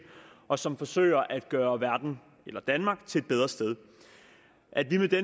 og som forsøger at gøre verden eller danmark til et bedre sted at vi med det